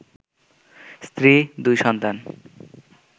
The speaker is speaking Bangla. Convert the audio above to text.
স্ত্রী, দুই সন্তান